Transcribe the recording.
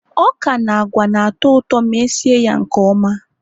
ọka na agwa na-atọ ụtọ ma esi ya nke ọma